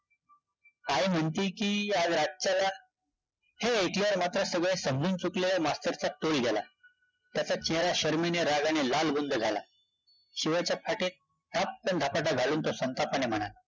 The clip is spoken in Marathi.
आई म्हणती की आज रातच्याला हे ऐकल्यावर मात्र सगळं समजून चुकलेल्या मास्तरचा तोल गेला, त्याच्या चेहरा शरमेने, रागाने लालबुंद झाला, शिवाच्या पाठीत ठपकन धपाटा घालून तो संतापाने म्हणाला